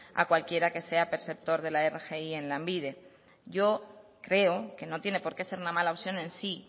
a cualquiera que sea perceptor de la rgi en lanbide yo creo que no tiene por qué ser una mala opción en sí